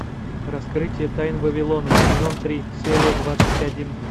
раскрытие тайн вавилона сезон три серия двадцать один